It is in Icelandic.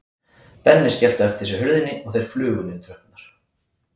Benni skellti á eftir sér hurðinni og þeir flugu niður tröppurnar.